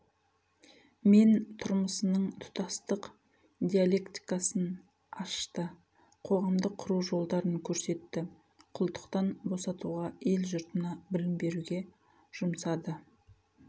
мен тұрмысының тұтастық диалектикасын ашты қоғамды құру жолдарын көрсетті құлдықтан босатуға ел жұртына білім беруге жұмсады